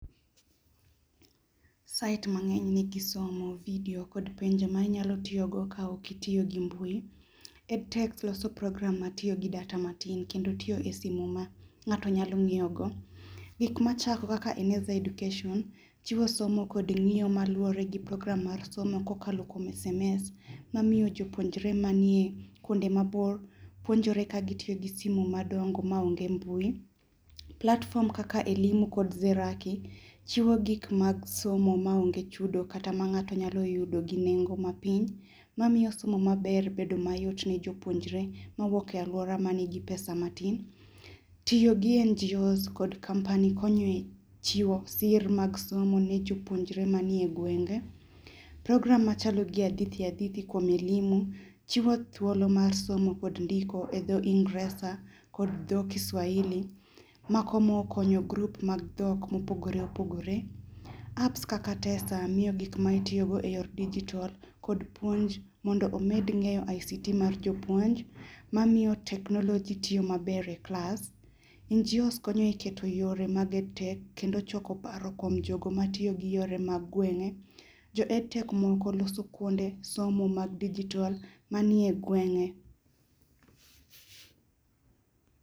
Site mangeny nigi somo video kod penjo ma inyalo tiyo go ka ok itiyo gi mbui, Ed tech loso program matiyo gi data matin kendo tiyo e simu ma ng'ato nyalo ngiyo go. Gik macha kaka eneza education chiwo somo kod ng'iyo maluore gi program mar somo makalo kuom SMS mang'iyo jopuonjre manie kuonde mabor puonjore katiyo gi simu madongo maonge mbui. Platform kaka Elimu kod Zerachi chiwo gik mag somo maonge chudo kata ma ng'ato nyalo yudo gi nengo mapiny mamiyo somo maber bedo mayot ne jopuonjre mawuok e aluora manigi pesa matin. Tiyo gi NGOs kod company konyo e chiwo sir mag somo ne jopuonjre manie gwenge. Program machalo gi hadithi hadithi kuom elimu chiwo thuolo mar somo kod ndiko e dho ingreza kod dho kiswahili, mako moko konyo group mag dhok ma opogore opogore. Apps kaka tesa miyo gik ma itiyo go e yor digital kod puonj mondo omed ngeyo ICT mar jopuonj mamiyo teknoloji tiyo maber e klas. NGOs konyo e keto e yore mage tee kendo choko paro kuom jogo matiyo gi paro mag gwenge. Jo Ed tech moko loso kuonde somo mag digital manie gwenge